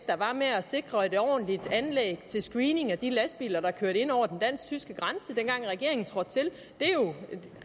der var med at sikre et ordentligt anlæg til screening af de lastbiler der kørte ind over den dansk tyske grænse dengang regeringen trådte til det er jo